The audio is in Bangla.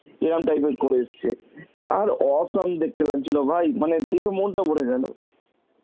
এরাম type এর করে এসছে, আর awesome দেখতে লাগছিল ভাই, মানে দেখে মনটা ভরে গেল.